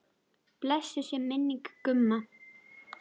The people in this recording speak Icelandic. Blessuð sé minning Gumma.